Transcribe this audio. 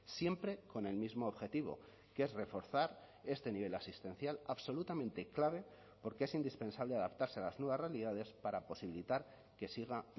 siempre con el mismo objetivo que es reforzar este nivel asistencial absolutamente clave porque es indispensable adaptarse a las nuevas realidades para posibilitar que siga